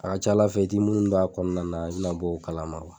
A ca Ala i ti minnu dɔn a kɔnɔna na i bɛna b'o kalama